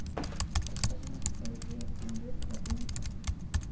Þess vegna eigi að virða bóndann.